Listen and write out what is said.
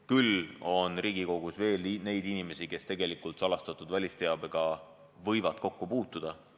Küll on Riigikogus veel neid inimesi, kes tegelikult võivad salastatud välisteabega kokku puutuda.